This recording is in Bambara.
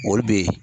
O be yen